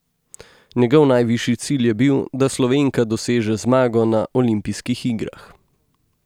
Njegov najvišji cilj je bil, da Slovenka doseže zmago na olimpijskih igrah.